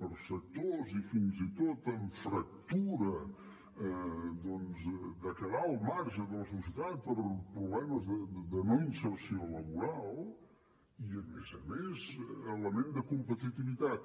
per a sectors i fins i tot amb fractura de quedar al marge de la societat per problemes de no inserció laboral i a més a més element de competitivitat